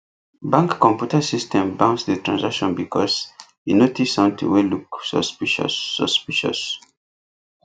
bank computer system bounce the transaction because e notice something wey look suspicious suspicious